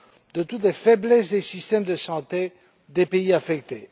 de toutes les faiblesses des systèmes de santé des pays affectés.